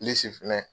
finɛ